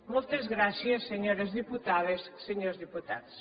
moltes gràcies senyores diputades senyors diputats